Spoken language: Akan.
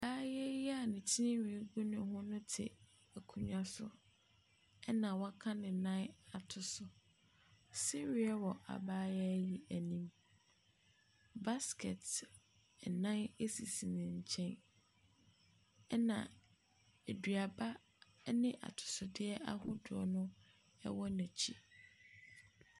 Abayaa yi a ne tirinwii gu ne ho no te akonnwa so no ɛna waka ne nan ato so. Sereɛ wɔ abayaa yi anim. Baskɛt ɛnan sisi ne nkyɛn ɛna aduaba ne atosodeɛ ahodoɔ no ɛwɔ nakyi.